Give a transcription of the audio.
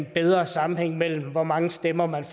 bedre sammenhæng mellem hvor mange stemmer man